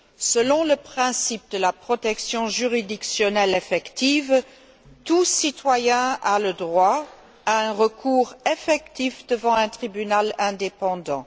Selon le principe de la protection juridictionnelle effective, tout citoyen a droit à un recours effectif devant un tribunal indépendant.